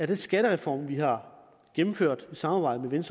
den skattereform vi har gennemført i samarbejde med